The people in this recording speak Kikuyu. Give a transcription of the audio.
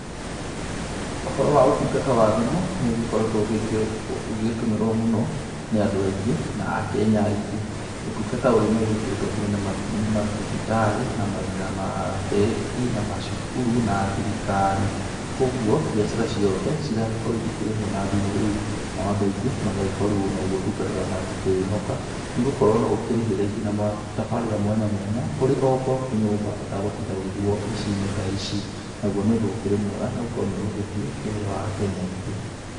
Ũhoro wa ũtungata wa thimũ nĩũkoretwo ũgĩgĩtũmĩrwo mũno nĩ andũ aingĩ na akenya aingĩ. ũtungata nĩũgĩkĩrĩirwo mũno nĩ kinya nĩ mathibitarĩ, na mabengi na macukuru na thirikari kwoguo mbiacara ciothe iragĩkorwo ikĩrĩhwo na thimũ na andũ aingĩ magĩkorwo ũyũ nogwo ũtungata mangĩkĩhoka nĩ gũkorwo no ũkĩrĩhĩre kinya tabarĩra mwanya mwanya ũrĩ o gwaku nyũmba ũtagũtinda ũgĩthiĩ wabici ici. Naguo ũgakorwo nĩ ũndũ mwega nĩgũkorwo nĩ ũhũthĩtie wĩra wa akenya aingĩ.